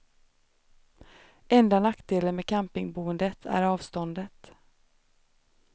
Enda nackdelen med campingboendet är avståndet.